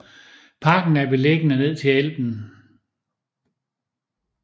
Parken er beliggende ned til Elben